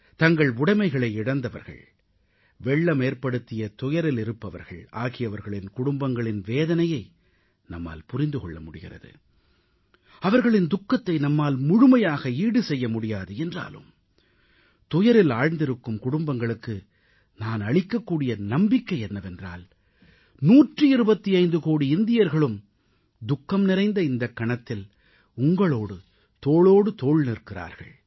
தங்கள் உடைமைகளை இழந்தவர்கள் வெள்ளமேற்படுத்திய துயரிலிருப்பவர்கள் ஆகியவர்களின் குடும்பங்களின் வேதனையை நம்மால் புரிந்து கொள்ள முடிகிறது அவர்களின் துக்கத்தை நம்மால் முழுமையாக ஈடு செய்ய முடியாது என்றாலும் துயரில் ஆழ்ந்திருக்கும் குடும்பங்களுக்கு நான் அளிக்கக்கூடிய நம்பிக்கை என்னவென்றால் 125 கோடி இந்தியர்களும் துக்கம் நிறைந்த இந்தக் கணத்தில் உங்களோடு தோளோடு தோள் நிற்கிறார்கள்